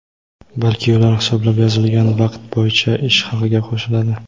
balki ular hisoblab yozilgan vaqt bo‘yicha ish haqiga qo‘shiladi.